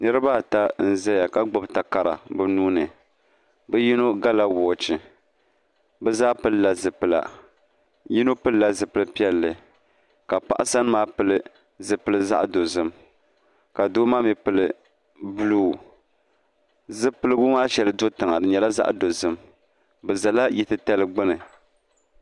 Niriba ata n zaya ka gbubi takara bi nuuni bi yino va la wɔɔchi bi zaa pili la zipila yino pili la zupiligu piɛlli ka paɣa sani maa pili zupiligu zaɣi dozim ka doo maa mi pili buluu zupiligu maa shɛli do tiŋa di nyɛla zaɣi dozim bi zala yili ti tali gbuni.